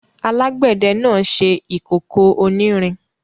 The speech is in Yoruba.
Alágbẹ̀dẹ náà ṣe ìkókó onírin.